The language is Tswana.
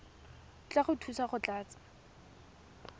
tla go thusa go tlatsa